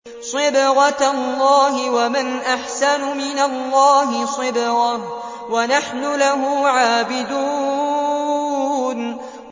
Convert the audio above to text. صِبْغَةَ اللَّهِ ۖ وَمَنْ أَحْسَنُ مِنَ اللَّهِ صِبْغَةً ۖ وَنَحْنُ لَهُ عَابِدُونَ